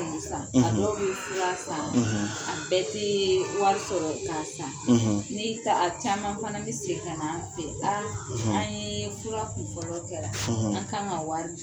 N' san; ; A dɔw bɛ fula san; , A bɛɛ t'iii wari Sɔrɔ ka san; Ni a caman fana bɛ se ka na fɛ aa; O tu ma; an ye fura kunfɔlɔ kɛra; ; an ka kan ka wari